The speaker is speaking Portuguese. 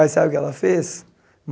Aí sabe o que ela fez?